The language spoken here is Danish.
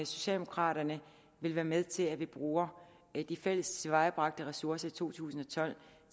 socialdemokraterne vil være med til at vi bruger de fælles tilvejebragte ressourcer i to tusind og tolv